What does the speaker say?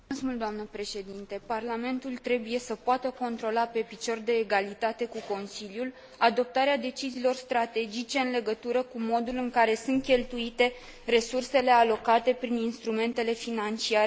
Parlamentul trebuie să poată controla pe picior de egalitate cu Consiliul adoptarea deciziilor strategice în legătură cu modul în care sunt cheltuite resursele alocate prin instrumentele financiare de cooperare.